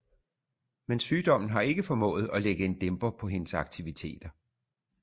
Men sygdommen har ikke formået at lægge en dæmper på hendes aktiviteter